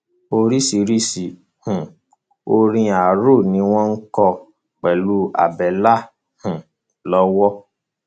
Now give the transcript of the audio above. oríṣiríṣiì um orin arò ni wọn kọ pẹlú àbẹlà um lọwọ